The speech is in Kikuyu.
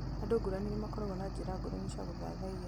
Andũ ngũrani nĩmakoragwo na njĩra ngũrani cia gũthathaiya